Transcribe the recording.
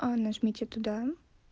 нажмите туда